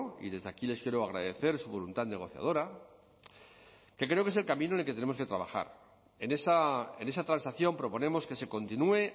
y desde aquí les quiero agradecer su voluntad negociadora que creo que es el camino en el que tenemos que trabajar en esa transacción proponemos que se continúe